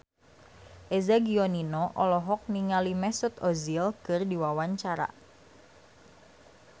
Eza Gionino olohok ningali Mesut Ozil keur diwawancara